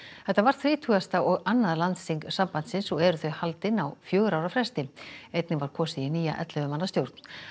þetta var þrítugasta og annað landsþing sambandsins og eru þau haldin á fjögurra ára fresti einnig var kosið í nýja ellefu manna stjórn